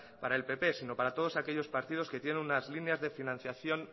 para el pp sino para todos aquellos partidos que tienen unas líneas de financiación